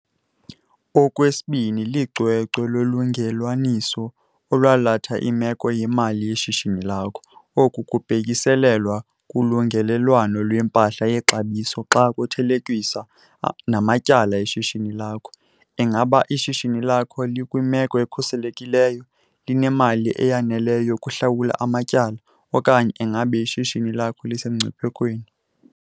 Okwesibini licwecwe lolungelelwaniso olwalatha imeko yemali yeshishini lakho. Oku kubhekiselelwe kulungelelwano lwempahla yexabiso xa kuthelekiswa namatyala eshishini lakho. Ingaba ishishini lakho likwimeko ekhuselekileyo - linemali eyaneleyo yokuhlawula amatyala, okanye ingaba ishishini lakho lisemngciphekweni?